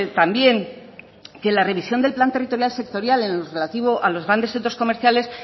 también que la revisión del plan territorial sectorial en lo relativo a los grandes centros comerciales